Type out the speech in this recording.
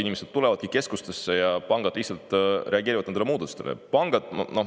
Inimesed tulevadki keskustesse ja pangad lihtsalt reageerivad nendele muutustele.